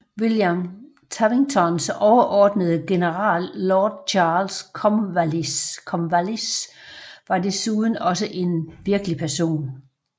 William Tavingtons overordnede general Lord Charles Cornwallis var desuden også en virkelig person